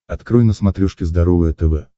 открой на смотрешке здоровое тв